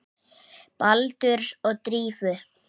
Baldurs og Drífu?